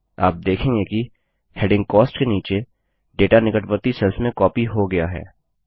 आप देखेंगे कि हैडिंग कॉस्ट के नीचे डेटा निकटवर्ती सेल्स में कॉपी हो गया है